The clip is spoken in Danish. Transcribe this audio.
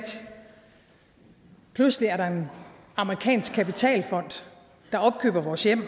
pludselig er der en amerikansk kapitalfond der opkøber vores hjem og